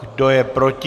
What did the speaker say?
Kdo je proti?